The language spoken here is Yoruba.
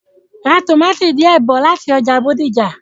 Ra tòmátì díẹ̀ bí láti ọjà Bódìjà.